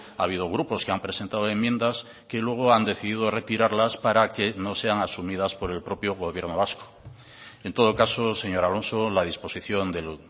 ha habido grupos que han presentado enmiendas que luego han decidido retirarlas para que no sean asumidas por el propio gobierno vasco en todo caso señor alonso la disposición del